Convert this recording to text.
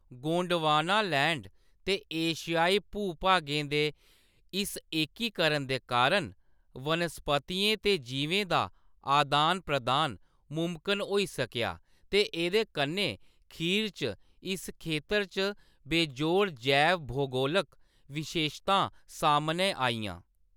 Gondwanaland ते एशियाई भू-भागें दे इस एकीकरण दे कारण, वनस्पतियें ते जीवें दा आदान-प्रदान मुमकन होई सकेआ ते एह्‌‌‌दे कन्नै खीर च इस खेतर च बेजोड़ जैव-भूगोलक विशेशतां सामनै आइयां।